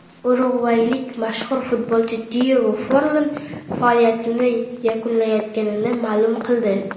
Urugvaylik mashhur futbolchi Diyego Forlan faoliyatini yakunlayotganini ma’lum qildi.